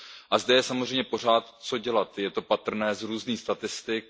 A zde je samozřejmě pořád co dělat, je to patrné z různých statistik.